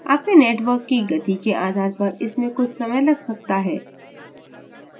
आपके network की गति के आधार पर इसमें कुछ समय लग सकता है